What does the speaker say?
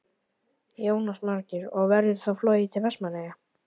Jónas Margeir: Og verður þá flogið til Vestmannaeyja?